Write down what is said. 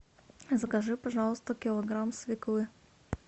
закажи пожалуйста килограмм свеклы